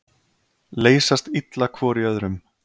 Leysast illa hvor í öðrum.